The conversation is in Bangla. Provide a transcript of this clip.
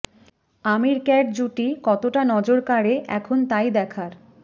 আমির ক্যাট জুটি কতটা নজর কাড়ে এখন তাই দেখার